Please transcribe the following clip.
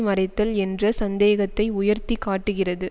மறைத்தல் என்ற சந்தேகத்தை உயர்த்தி காட்டுகிறது